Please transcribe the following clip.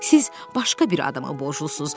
Siz başqa bir adamı borclusuz.